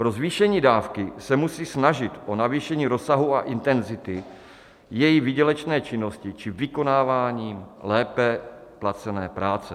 Pro zvýšení dávky se musí snažit o navýšení rozsahu a intenzity její výdělečné činnosti či vykonávání lépe placené práce.